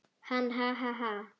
Hann: Ha ha ha.